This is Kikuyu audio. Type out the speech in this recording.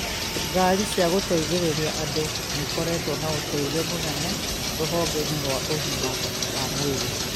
Ngaari cia gũteithĩrĩria andũ nĩikoretwo na ũteithio mũnene rũhonge-inĩ rwa ũgima wa mwĩrĩ